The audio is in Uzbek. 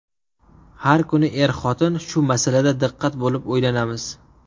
Har kuni er-xotin shu masalada diqqat bo‘lib, o‘ylanamiz.